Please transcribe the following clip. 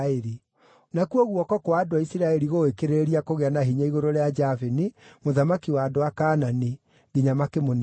Nakuo guoko kwa andũ a Isiraeli gũgĩkĩrĩrĩria kũgĩa na hinya igũrũ rĩa Jabini, mũthamaki wa andũ a Kaanani, nginya makĩmũniina biũ.